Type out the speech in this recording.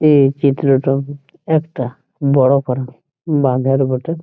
এ চিত্রটা একটা বড় প্রাণী বাঁদর বটে।